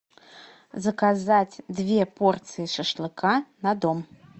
заказать две порции шашлыка на дом